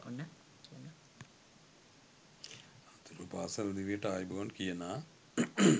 අනතුරුව පාසැල් දිවියට ආයුබෝවන් කියනා